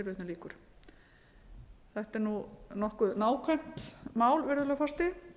af fitumagni vörunnar þetta er nokkuð nákvæmt mál virðulegi forseti